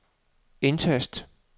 indtast